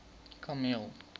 kameel